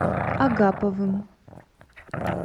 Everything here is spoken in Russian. агаповым